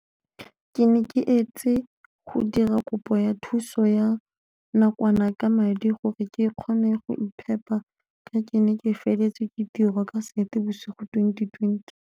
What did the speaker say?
Ke ne ke etse go dira kopo ya thuso ya nakwana ka madi gore ke kgone go iphepa ka ke ne ke feletswe ke tiro ka Seetebosigo 2020.